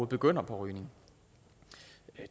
begynder at ryge